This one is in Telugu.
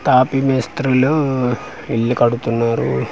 తాపీ మేస్త్రులు ఉఊ ఇల్లు కడుతున్నారు.